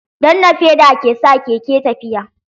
Danna feda ke sa keke tafiya.